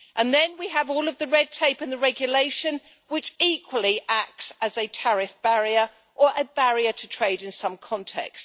And then we have all of the red tape and the regulation, which equally acts as a tariff barrier or a barrier to trade in some context.